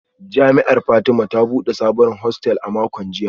Jami’ar Fatima ta bude sabon hostel a makon jiya